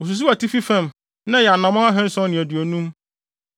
Osusuw atifi fam na ɛyɛ anammɔn ahanson ne aduonum.